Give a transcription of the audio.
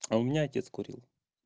ау меня отец курил